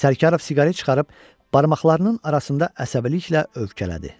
Sərkarov siqaret çıxarıb barmaqlarının arasında əsəbiliklə övkələdi.